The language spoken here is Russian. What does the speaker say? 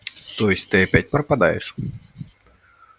то есть ты опять пропадаешь